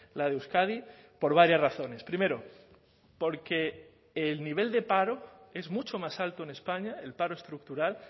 la de euskadi por varias razones primero porque el nivel de paro es mucho más alto en españa el paro estructural